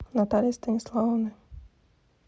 натальи станиславовны